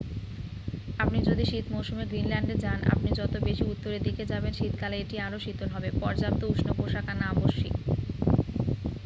আপনি যদি শীত মৌসুমে গ্রিনল্যান্ডে যান আপনি যত বেশি উত্তরের দিকে যাবেন শীতকালে এটি আরও শীতল হবে পর্যাপ্ত উষ্ণ পোশাক আনা আবশ্যিক।